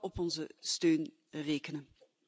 op onze steun rekenen.